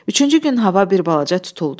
Üçüncü gün hava bir balaca tutuldu.